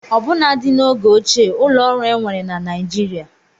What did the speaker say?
Ọbụnadị n'oge ochie ụlọ ọrụ enwere na Nigeria